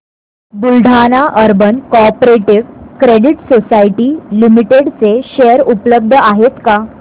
Buldhana urban cooperative credit society limited चे share उपलब्ध आहेत का